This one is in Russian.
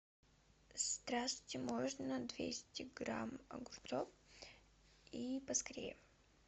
здравствуйте можно двести грамм огурцов и поскорее